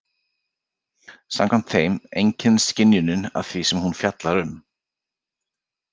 Samkvæmt þeim einkennist skynjunin af því sem hún fjallar um.